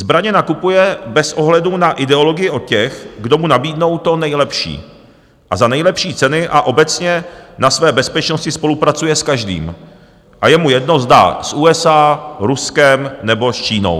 Zbraně nakupuje bez ohledu na ideologii od těch, kdo mu nabídnou to nejlepší a za nejlepší ceny, a obecně na své bezpečnosti spolupracuje s každým, je mu jedno, zda s USA, Ruskem nebo s Čínou.